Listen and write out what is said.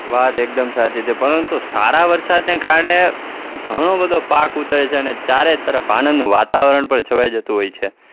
વાત એકદમ સાચી છે પરંતુ સારા વરસાદને કારણે ઘણો બધો પાક ઉતરે છે અને ચારેતરફ આનંદ વાતાવરણ પર છવાય જતું હોય છે.